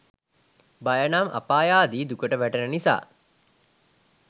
භය නම් අපායාදී දුකට වැටෙන නිසා